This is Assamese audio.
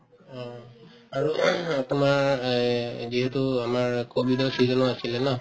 অ, আৰু তোমাৰ এই যিহেতু আমাৰ কভিডৰ season ও আছিলে ন